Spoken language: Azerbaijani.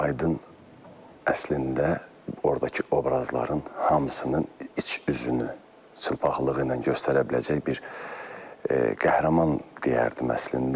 Aydın əslində ordakı obrazların hamısının iç üzünü çılpaqlığı ilə göstərə biləcək bir qəhrəman deyərdim əslində.